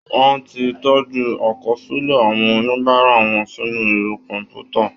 Wọ́n ti tọ́jú àkọsílẹ̀ àwọn oníbàárà wọn sínú ẹ̀rọ kọ̀m̀pútà